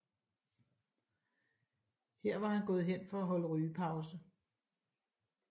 Her var han gået hen for at holde rygepause